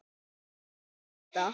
Var þetta ekki þota?